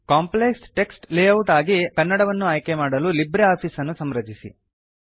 complex text layout ಆಗಿ ಕನ್ನಡವನ್ನು ಆಯ್ಕೆ ಮಾಡಲು ಲಿಬ್ರೆ ಆಫೀಸ್ ಅನ್ನು ಸಂರಚಿಸಿ